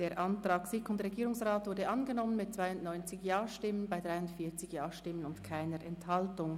Der Antrag SiK und Regierungsrat ist angenommen worden mit 92 Ja- zu 43 NeinStimmen bei keiner Enthaltung.